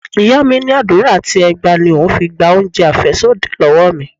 Ìyá mi ní àdúrà àti ẹgba ni òun fi gba oúnjẹ afesodi lọ́wọ́ mi.